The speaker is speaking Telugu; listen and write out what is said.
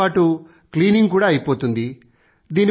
రన్నింగ్ తో పాటూ క్లీనింగ్ కూడా అయిపోతుంది